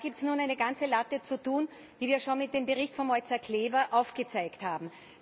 Und da gibt es nun eine ganze Latte zu tun, die wir schon mit dem Bericht von Mojca Kleva aufgezeigt haben.